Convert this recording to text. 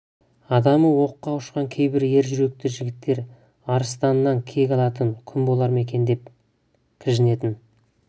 адамы оққа ұшқан кейбір ер жүректі жігіттер арыстаннан кек алатын күн болар ма екен деп кіжінетін